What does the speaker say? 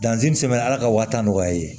Danzin sɛbɛn ala ka wa tan nɔgɔya i ye